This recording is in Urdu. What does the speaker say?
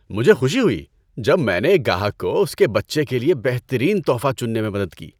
مجھے خوشی ہوئی جب میں نے ایک گاہک کو اس کے بچے کے لیے بہترین تحفہ چننے میں مدد کی۔